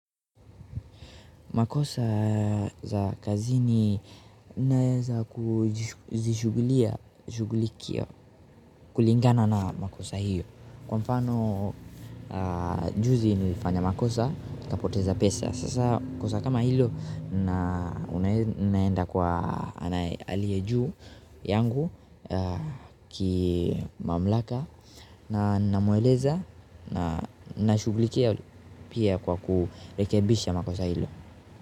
Makosa za kazini naweza kuzishughulikia, kulingana na makosa hiyo. Kwa mfano juzi nilifanya makosa, kapoteza pesa. Sasa kosa kama hilo naenda kwa aliye juu yangu kimamlaka na namueleza na shughulikia pia kwa kurekebisha makosa hilo.